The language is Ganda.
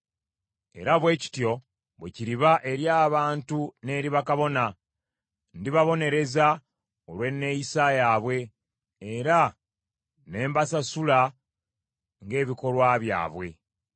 Era bwe kityo bwe kiriba eri abantu n’eri bakabona: ndibabonereza olw’enneeyisa yaabwe, era ne mbasasula ng’ebikolwa byabwe.